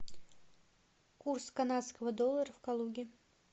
курс канадского доллара в калуге